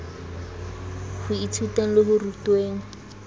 ho ithuteng le ho rutweng